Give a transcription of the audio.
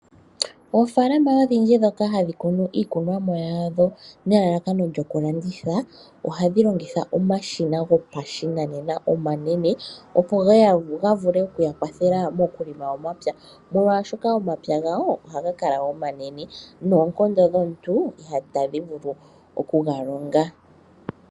Oofalama odhindji ndhoka ha dhi kunu iikunomwa yadho nelalakano lyokulanditha, oha dhi longitha omashina gopashinanena oma nene opo ga vule okuya kwathela mokulonga omapya. Molwaashoka omapya gawo oha ga kala omanene, noonkondo dhomuntu ita dhi vulu oku ga longa.